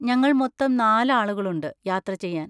ഞങ്ങൾ മൊത്തം നാല് ആളുകളുണ്ട് യാത്ര ചെയ്യാൻ.